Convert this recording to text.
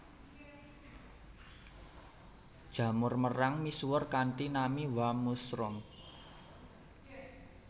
Jamur merang misuwur kanthi nami warm mushroom